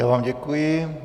Já vám děkuji.